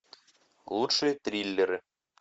лучшие триллеры